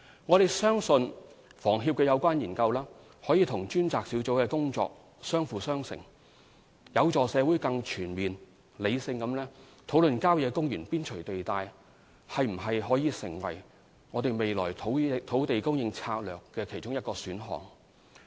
我們相信有關研究可與專責小組的工作相輔相成，亦有助社會更全面、理性地討論郊野公園邊陲地帶是否可作為未來土地供應策略的其中一個選項。